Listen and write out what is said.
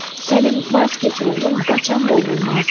Səlim, vaz keç oğlum, qaçan qovulmaz!